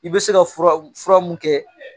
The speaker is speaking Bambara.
I bɛ se ka fura min kɛ